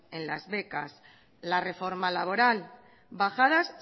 en las becas la reforma laboral bajadas